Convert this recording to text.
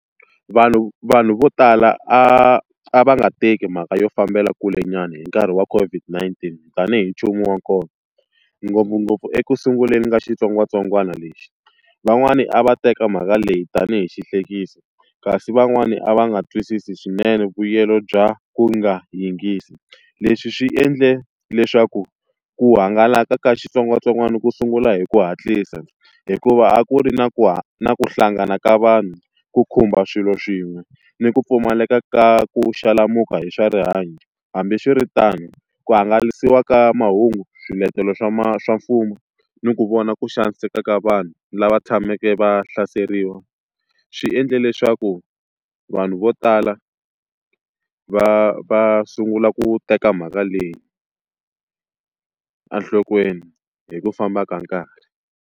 Vanhu vanhu vo tala a a va nga teki mhaka yo fambela kulenyana hi nkarhi wa COVID-19 tanihi nchumu wa kona ngopfungopfu ekusunguleni ka xitsongwatsongwana lexi. Van'wani a va teka mhaka leyi tanihi xihlekiso, kasi van'wani a va nga twisisi swinene vuyelo bya ku nga yingisi. Leswi swi endle leswaku ku hangalaka ka xitsongwatsongwana ku sungula hi ku hatlisa, hikuva a ku ri na ku na ku hlangana ka vanhu, ku khumba swilo swin'we, ni ku pfumaleka ka ku xalamuka hi swa rihanyo. Hambiswiritano ku hangalasiwa ka mahungu swiletelo swa swa mfumo ni ku vona ku xaniseka ka vanhu lava tshameke va hlaseriwa. swi endle leswaku vanhu vo tala va va sungula ku teka mhaka leyi enhlokweni hi ku famba ka nkarhi.